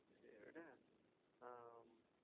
சேரி விடு ஆஹ்